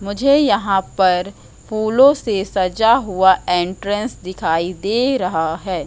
मुझे यहां पर फूलो से सजा हुआ एंट्रेंस दिखाई दे रहा है।